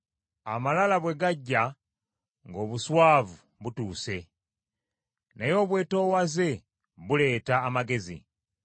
Amalala bwe gajja, ng’obuswavu butuuse, naye obwetoowaze buleeta amagezi.